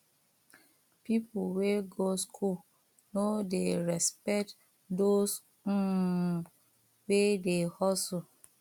pipo wey go skool no dey respect those um wey dey hustle